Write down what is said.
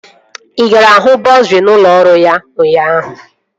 Ị gara hụ bọsa n'ụlọ ọrụ ya ụnyaahụ?